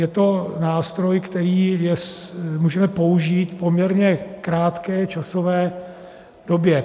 Je to nástroj, který můžeme použít v poměrně krátké časové době.